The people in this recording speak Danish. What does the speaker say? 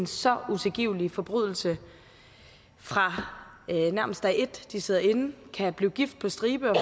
så utilgivelige forbrydelser fra nærmest dag et de sidder inde kan blive gift på stribe og